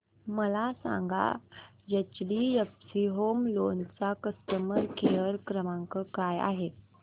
मला सांगा HDFC home loan चा कस्टमर केअर क्रमांक काय आहे